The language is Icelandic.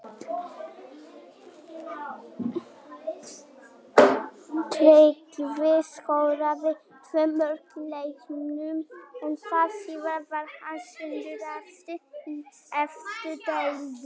Mikil óánægja var með þessar húfur og þær voru lítið notaðar.